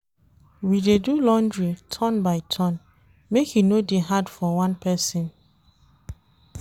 We dey do laundry turn by turn make e no dey hard for one pesin.